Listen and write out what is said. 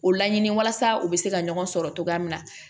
O laɲini walasa u bɛ se ka ɲɔgɔn sɔrɔ cogoya min na